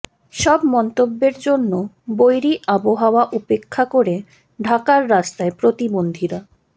সব মন্তব্যের জন্য বৈরী আবহাওয়া উপেক্ষা করে ঢাকার রাস্তায় প্রতিবন্ধীরা